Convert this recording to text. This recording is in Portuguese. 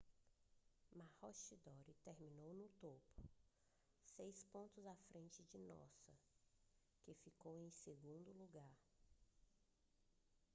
maroochydore terminou no topo seis pontos à frente de noosa que ficou em segundo lugar